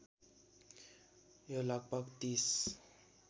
यो लगभग ३०